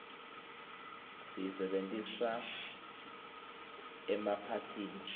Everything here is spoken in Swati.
siyisebentisa emaphathini